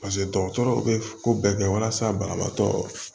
paseke dɔgɔtɔrɔw be ko bɛɛ kɛ walasa banabaatɔ